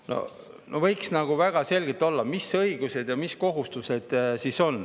Võiks väga selgelt olla, mis õigused ja mis kohustused siis on.